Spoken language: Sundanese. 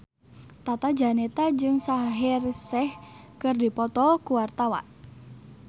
Tata Janeta jeung Shaheer Sheikh keur dipoto ku wartawan